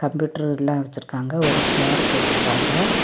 Computer எல்லா வெச்சிருக்காங்க ஒரு சேர் போட்டு இருக்காங்க.